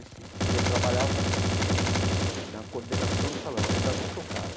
Nesse que eu trabalhava na coordenação do salão, eu ainda não tocava.